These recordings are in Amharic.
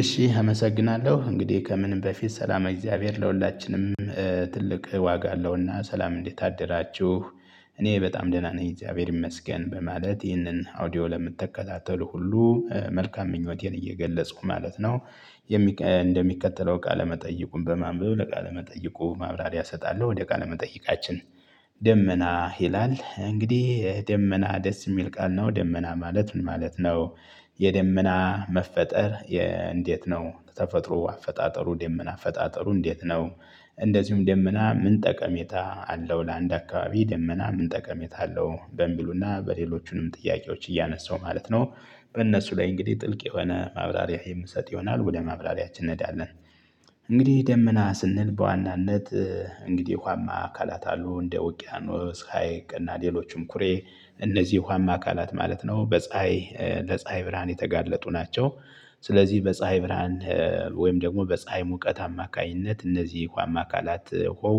እሺ አመሰግናለሁ እንግዲህ ከምንም በፊት ሰላመ እግዚአብሔር ለሁላችንም። ትልቅ ዋጋ አለውና ሰላም እንዴት አደራችሁ? እኔ በጣም ደህና ነኝ እግዚአብሔር ይመስገን በማለት ይህንን አውዲዮ ለምትከታተሉ ሁሉ መልካም ምኞቴን እየገለፅኩ ማለት ነው። እንደሚከተለው ቃለመጠይቁን በማንበብ ለቃለ መጠይቁ ማብራሪያ እሰጣለሁ ወደ ቃለ መጠይቃችን። ደመና ይላል እንግዲህ ደመና ደስ የሚል ቃል ነው። ደመና ማለት ምን ማለት ነው? የደመና መፈጠር። እንዴት ነው? ተፈጥሮ አፈጣጠሩ ደመና አፈጣጠሩ እንዴት ነው? እንደዚሁም ደመና ምን ጠቀሜታ አለው ለአንድ አካባቢ ደመና ምን ጠቀሜታ አለው? በሚሉና በሌሎቹንም ጥያቄዎች እያነሳው ማለት ነው። በእነሱ ላይ እንግዲህ ጥልቅ የሆነ ማብራሪያ የምሰጥ ይሆናል ወደ ማብራሪያችን እንሄዳለን። እንግዲህ ደመና ስንል በዋናነት እንግዲህ ውሃማ አካላት አሉ እንደ ውቅያኖስ ሀይቅ እና ሌሎችም ኩሬ። እነዚህ ውሃማ አካላት ማለት ነው። በፀሀይ ለፀሀይ ብርሃን የተጋለጡ ናቸው። ስለዚህ በፀሀይ ብርሃን ወይም ደግሞ በፀሀይ ሙቀት አማካኝነት እነዚህ ውሃማ አካላት ውሃው።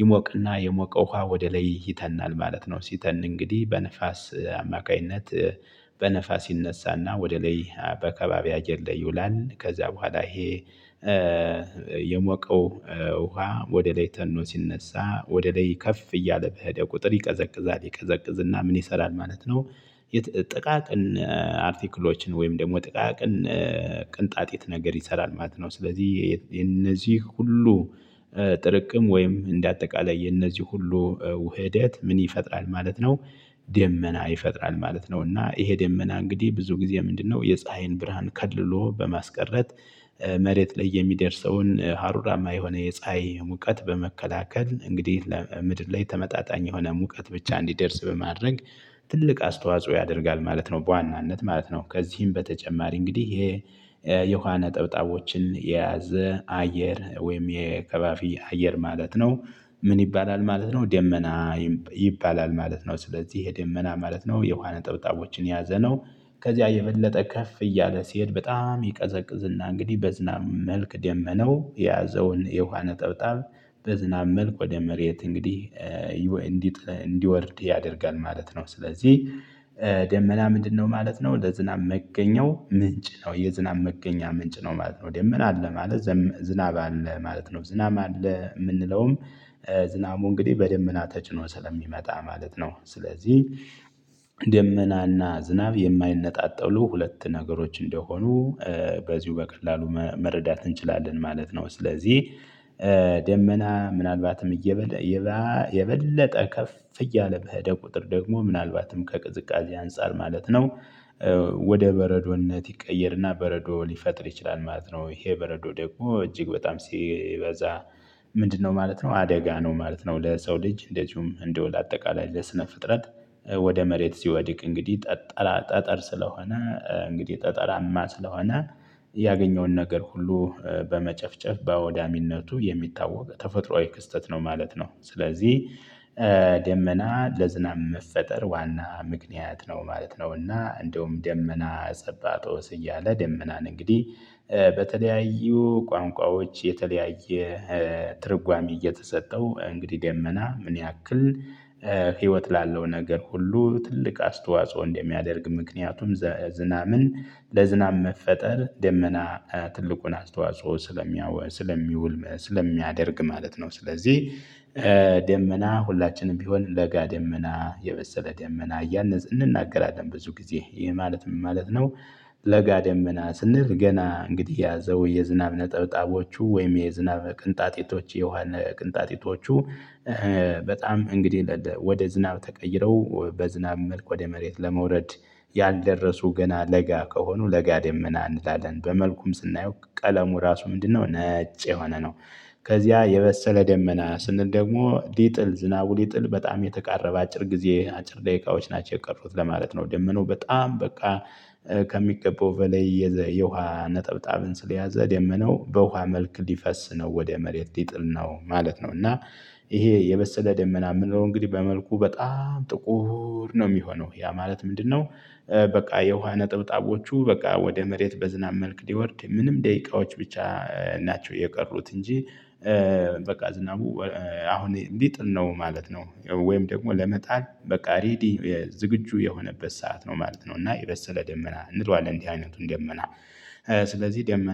ይሞቅና የሞቀ ውሃ ወደ ላይ ይተናል ማለት ነው። ሲተን እንግዲህ በነፋስ አማካኝነት በነፋስ ይነሳና ወደ ላይ በከባቢ አየር ላይ ይውላል። ከዛ በኋላ ይሄ የሞቀው ውሃ ወደ ላይ ተኖ ሲነሳ ወደ ላይ ከፍ እያለ በሄደ ቁጥር ይቀዘቅዛል ይቀዘቅዝና ምን ይሰራል ማለት ነው? ጥቃቅን አርቲክሎችን ወይም ደግሞ ጥቃቅን ቅንጣጤት ነገር ይሰራል ማለት ነው። ስለዚህ የነዚህ ሁሉ ጥርቅም ወይም እንደ አጠቃላይ የነዚህ ሁሉ ውህደት ምን ይፈጥራል ማለት ነው? ደመና ይፈጥራል ማለት ነው። እና ይሄ ደመና እንግዲህ ብዙ ጊዜ ምንድነው የፀሀይን ብርሃን ከልሎ በማስቀረት። መሬት ላይ የሚደርሰውን ሀሩራማ የሆነ የፀሀይ ሙቀት በመከላከል እንግዲህ ለምድር ላይ ተመጣጣኝ የሆነ ሙቀት ብቻ እንዲደርስ በማድረግ ትልቅ አስተዋጽኦ ያደርጋል ማለት ነው። በዋናነት ማለት ነው ከዚህም በተጨማሪ እንግዲህ ይሄ የውሃ ነጠብጣቦችን የያዘ አየር ወይም የከባፊ አየር ማለት ነው። ምን ይባላል ማለት ነው? ደመና ይባላል ማለት ነው። ስለዚህ ይሄ ደመና ማለት ነው የውሃ ነጠብጣቦችን የያዘ ነው። ከዚያ የበለጠ ከፍ እያለ ሲሄድ በጣም ይቀዘቅዝና እንግዲህ በዝናብ መልክ ደመነው የያዘውን የውሃ ነጠብጣብ በዝናብ መልክ ወደ መሬት እንግዲህ እንዲወርድ ያደርጋል ማለት ነው። ስለዚህ ደመና ምንድነው ማለት ነው? ለዝናብ መገኘው ምንጭ ነው የዝናብ መገኛ ምንጭ ነው ማለት ነው። ደመና አለ ማለት ዝናብ አለ ማለት ነው። ዝናብ አለ የምንለውም ዝናቡ እንግዲህ በደመና ተጭኖ ስለሚመጣ ማለት ነው። ስለዚህ ደመናና ዝናብ የማይነጣጠሉ ሁለት ነገሮች እንደሆኑ በዚሁ በቀላሉ መረዳት እንችላለን ማለት ነው። ስለዚህ ደመና ምናልባትም እየ የበለጠ ከፍ እያለ በሄደ ቁጥር ደግሞ ምናልባትም ከቅዝቃዜ አንፃር ማለት ነው። ወደ በረዶነት ይቀየርና በረዶ ሊፈጥር ይችላል ማለት ነው። ይሄ በረዶ ደግሞ እጅግ በጣም ሲበዛ ምንድነው ማለት ነው? አደጋ ነው ማለት ነው። ለሰው ልጅ እንደዚሁም እንደው ለአጠቃላይ ለስነ ፍጥረት። ወደ መሬት ሲወድቅ እንግዲህ ጠጠራ ጠጠር ስለሆነ እንግዲህ ጠጠራማ ስለሆነ ያገኘውን ነገር ሁሉ በመጨፍጨፍ በወዳሚነቱ የሚታወቅ ተፈጥሮአዊ ክስተት ነው። ማለት ነው። ስለዚህ ደመና ለዝናብ መፈጠር ዋና ምክንያት ነው ማለት ነው። እና እንደውም ደመና ጸባጦስ እያለ ደመናን እንግዲህ በተለያዩ ቋንቋዎች የተለያየ ትርጓሜ እየተሰጠው እንግዲህ ደመና ምን ያክል ህይወት ላለው ነገር ሁሉ ትልቅ አስተዋጽኦ እንደሚያደርግ ምክንያቱም ዘ ዝናምን ለዝናብ መፈጠር ደመና ትልቁን አስተዋጽኦ ስለሚያውል ስለሚውል ስለሚያደርግ ማለት ነው። ስለዚህ ደመና ሁላችንም ቢሆን ለጋ ደመና የበሰለ ደመና እያልን እንናገራለን ብዙ ጊዜ ይሄ ማለት ምን ማለት ነው? ለጋ ዴመና ስንል ገና እንግዲህ የያዘው የዝናብ ነጠብጣቦቹ ወይም የዝናብ ቅንጣጢቶች የውሃ ቅንጣጢቶቹ። በጣም እንግዲህ ወደ ዝናብ ተቀይረው በዝናብ መልኩ ወደ መሬት ለመውረድ ያልደረሱ ገና ለጋ ከሆኑ ለጋ ደመና እንላለን በመልኩም ስናየው ቀለሙ ራሱ ምንድነው ነጭ የሆነ ነው። ከዚያ የበሰለ ደመና ስንል ደግሞ ዲጥል ዝናቡ ሊጥል በጣም የተቃረበ አጭር ጊዜ አጭር ደቂቃዎች ናቸው የቀሩት ለማለት ነው። ደመናው በጣም በቃ ከሚገባው በላይ የዘ የውሃ ነጠብጣብን ስለያዘ ደመናው በውሃ መልክ ሊፈስ ነው ወደ መሬት ይጥል ነው ማለት ነው። እና ይሄ የበሰለ ደመና የምንለው እንግዲህ በመልኩ በጣም ጥቁር ነው የሚሆነው ያ ማለት ምንድነው? በቃ የውሃ ነጥብጣቦቹ በቃ ወደ መሬት በዝናብ መልክ ሊወርድ ምንም ደቂቃዎች ብቻ ናቸው የቀሩት እንጂ። በቃ ዝናቡ አሁን ሊጥል ነው ማለት ነው። ወይም ደግሞ ለመጣል በቃ ሬዲ የዝግጁ የሆነበት ሰዓት ነው ማለት ነው። እና የበሰለ ደመና እንለዋለን እንዲህ አይነቱን ደመና። ስለዚህ ደመና